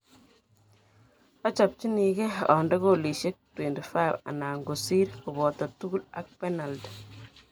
Ochopchinike onde goalishek 25 anan kosir koboto tugul ak penalti.